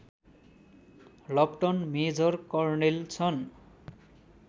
लप्टन major colonel छन्